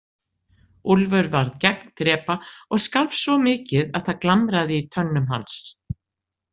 Úlfur varð gegndrepa og skalf svo mikið að það glamraði í tönnum hans.